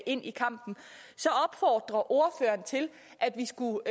ind i kampen så opfordrer ordføreren til at vi skulle